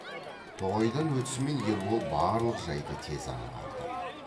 тоғайдан өтісімен ербол барлық жайды тез аңғарды